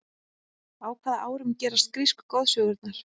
á hvaða árum gerast grísku goðsögurnar